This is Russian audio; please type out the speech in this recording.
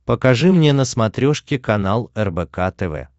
покажи мне на смотрешке канал рбк тв